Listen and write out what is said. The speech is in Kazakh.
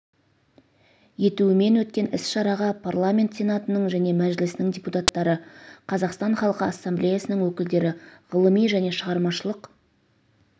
етуімен өткен іс-шараға парламенті сенатының және мәжілісінің депутаттары қазақстан халқы ассамблеясының өкілдері ғылыми және шығармашылық